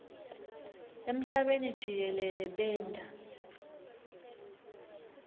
emhlabeni jikelele benta